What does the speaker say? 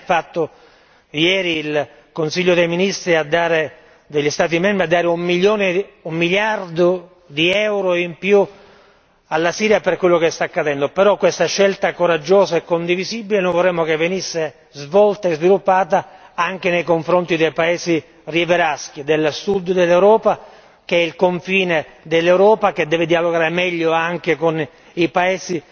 Bene ha fatto ieri il Consiglio dei ministri degli Stati membri a dare un miliardo di euro in più alla Siria per quello che sta accadendo, però questa scelta coraggiosa e condivisibile noi vorremmo che venisse svolta e sviluppata anche nei confronti dei paesi rivieraschi del Sud dell'Europa, mentre il confine dell'Europa deve dialogare meglio anche con i paesi